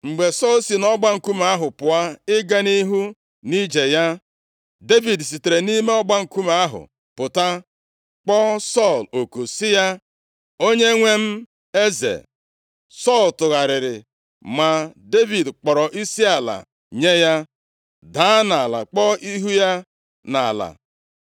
Mgbe Sọl si nʼọgba nkume ahụ pụọ ịga nʼihu nʼije ya, Devid sitere nʼime ọgba nkume ahụ pụta, kpọọ Sọl oku sị ya, “Onyenwe m, eze!” Sọl tụgharịrị ma Devid kpọrọ isiala nye ya, daa nʼala kpuo ihu ya nʼala.